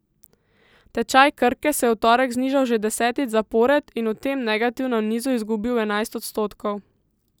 Tečaj Krke se je v torek znižal že desetič zapored in v tem negativnem nizu izgubil enajst odstotkov.